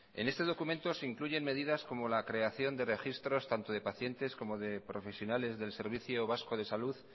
en ese documento se incluyen medidas como la creación de registros tanto de pacientes como de profesionales del servicio vasco de salud